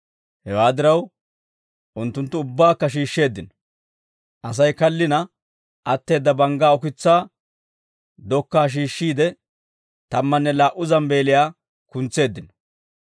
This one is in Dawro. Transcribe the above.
Hewaa diraw, unttunttu ubbaakka shiishsheeddino; Asay kallina atteedda banggaa ukitsaa dokkaa shiishshiide, tammanne laa"u zambbeeliyaa kuntseeddino.